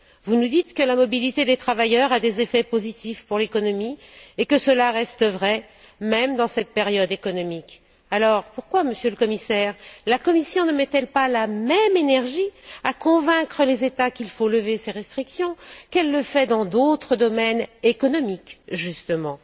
Vous nous dites que la mobilité des travailleurs a des effets positifs pour l'économie et que cela reste vrai, même dans cette période économique. Alors, pourquoi, Monsieur le Commissaire, la Commission ne met elle pas la même énergie à convaincre les États qu'il faut lever ces restrictions, qu'elle le fait dans d'autres domaines économiques, justement?